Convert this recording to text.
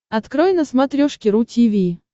открой на смотрешке ру ти ви